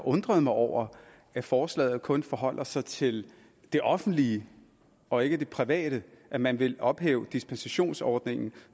undrer mig over at forslaget kun forholder sig til det offentlige og ikke det private da man vil ophæve dispensationsordningen